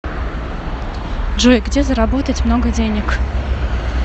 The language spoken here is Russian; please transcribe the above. джой где заработать много денег